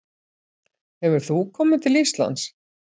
Hefur þú komið til Íslands?